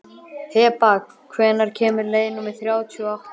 Heba, hvenær kemur leið númer þrjátíu og átta?